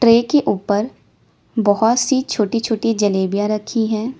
Tray के ऊपर बहुत सी छोटी छोटी जलेबियां रखी है।